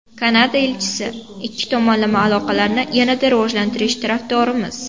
Kanada elchisi: Ikki tomonlama aloqalarni yanada rivojlantirish tarafdorimiz.